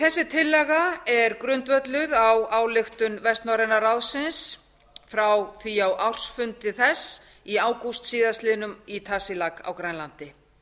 þessi tillaga er grundvölluð á ályktun vestnorræna ráðsins frá því á ársfundi þess í ágúst síðastliðinn í tasiilaq á grænlandi